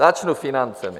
Začnu financemi.